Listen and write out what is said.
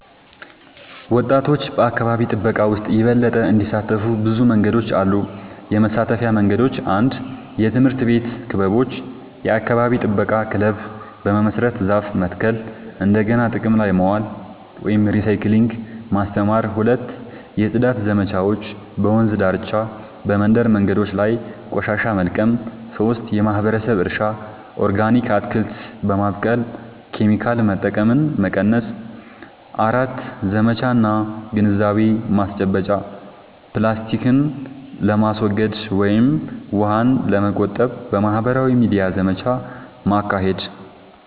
ወጣቶች በአካባቢ ጥበቃ ውስጥ የበለጠ እንዲሳተፉ ብዙ መንገዶች አሉ -የመሳተፊያ መንገዶች፦ 1. የትምህርት ቤት ክበቦች – የአካባቢ ጥበቃ ክለብ በመመስረት ዛፍ መትከል፣ እንደገና ጥቅም ላይ ማዋል (recycling) ማስተማር። 2. የጽዳት ዘመቻዎች – በወንዝ ዳርቻ፣ በመንደር መንገዶች ላይ ቆሻሻ መልቀም። 3. የማህበረሰብ እርሻ – ኦርጋኒክ አትክልት በማብቀል ኬሚካል መጠቀምን መቀነስ። 4. ዘመቻ እና ግንዛቤ ማስጨበጫ – ፕላስቲክን ለማስወገድ ወይም ውሃን ለመቆጠብ በማህበራዊ ሚዲያ ዘመቻ ማካሄድ።